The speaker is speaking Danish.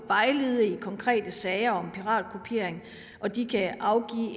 vejlede i konkrete sager om piratkopiering og den kan afgive